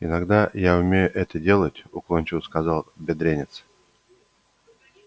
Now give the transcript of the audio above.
иногда я умею это делать уклончиво сказал бедренец